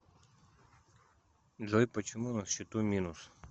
джой почему на счету минус